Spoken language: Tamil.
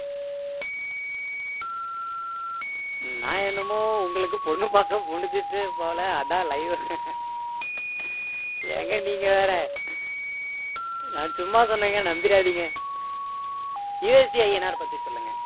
நான் என்னமோ உங்களுக்கு பொண்ணு பார்த்து முடிஞ்சிருச்சு போல அதான் live ஏங்க நீங்க வேற நான் சும்மா சொன்னேங்க நம்பிடாதீங்க USDINR பத்தி சொல்லுங்க